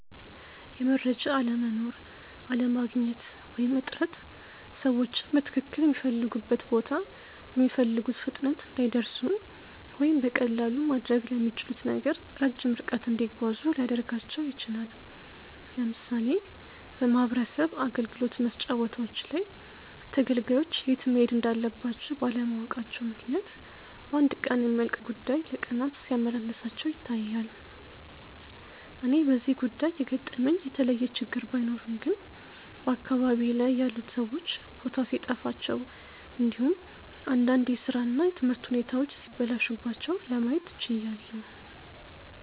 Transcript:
የመረጃ አለመኖር፣ አለማግኘት ወይም እጥረት ሰዎችን በትክልል ሚፈልጉበት ቦታ በሚፈልጉት ፍጥነት እንዳይደርሱ ወይም በቀላሉ ማድረግ ለሚችሉት ነገር ረጅም ርቀት እንዲጓዙ ሊያደርጋቸው ይችላል። ለምሳሌ በማህበረሰብ አገልግሎት መስጫ ቦታዎች ላይ ተገልጋዮች የት መሄድ እንዳለባቸው ባለማወቃቸው ምክንያት በአንድ ቀን የሚያልቅ ጉዳይ ለቀናት ሲያመላልሳቸው ይታያል። እኔ በዚህ ጉዳይ የገጠመኝ የተለየ ችግር ባይኖርም ግን በአካባቢዬ ላይ ያሉት ሰዎች ቦታ ሲጠፋቸው እንዲሁም እንዳንድ የስራ እና የትምህርት ሁኔታዎች ሲበላሹባቸው ለማየት ችያለው።